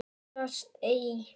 Óttast ei.